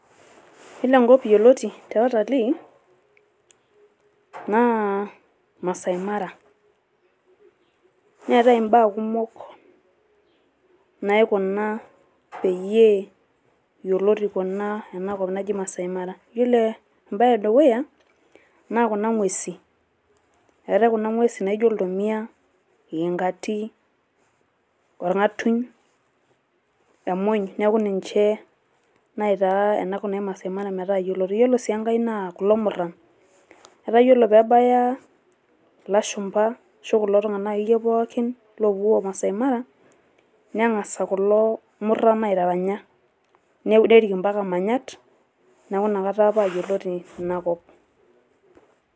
Yiolo enkop yioloti te utalii naa Maasai Mara. Neetai imbaa kumok naikuna peyie yioloti ena kop naji Maasai Mara. Yiolo embae e dukuya naa kuna ng`uesin eetae kuna ng`uesin naijo iltomia, iyingati, orng`atuny, emuny niaku ninche naitaa ena kop naji Maasai Mara metaa yioloti. Ore sii enkae naa kulo murran etaa ore pee ebaya ilashumpa ashu kulo tung`anak akeyie pookin oopuo Maasai Mara neng`asa kulo murran aitaranya , nerrik mpaka manyat niaku inakata paa yioloti ina kop.